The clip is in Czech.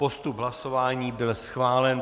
Postup hlasování byl schválen.